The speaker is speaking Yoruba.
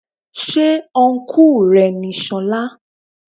Ṣé ọ́nkù rẹ ni solá.?